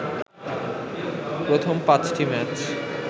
প্রথম ৫টি ম্যাচ